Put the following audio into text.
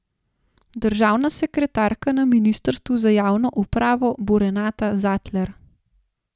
Državna sekretarka na ministrstvu za javno upravo bo Renata Zatler.